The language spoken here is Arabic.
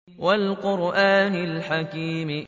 وَالْقُرْآنِ الْحَكِيمِ